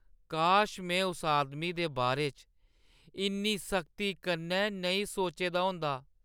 काश में उस आदमी दे बारे च इन्नी सख्ती कन्नै नेईं सोचे दा होंदा !